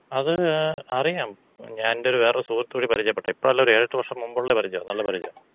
അത് അറിയാം. ഞാനെന്‍റെ വേറൊര് സുഹൃത്ത് വഴി പരിചയപ്പെട്ടതാ. ഇപ്പഴല്ല ഒര് ഏഴെട്ട് വർഷം മുൻപുള്ള പരിജ്യാ. നല്ല പരിജ്യാ.